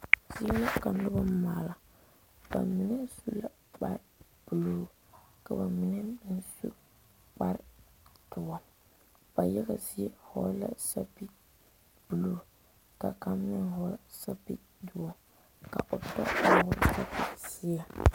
Zie la ka noba maala bamine su la kpare buluu, bamine meŋ su kpare doɔ ba yaga zie vɔgle la sapele buluu ka kaŋa meŋ vɔgle sapele doɔ ka pɔge vɔgle sapele ziɛ.